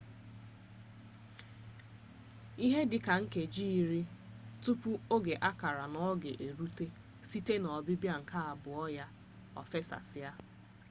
ihe dịka nkeji iri tupu oge a kara n'ọga erute site n'ọbịbịa nke abụọ ya o fesasịa